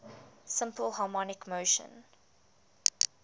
simple harmonic motion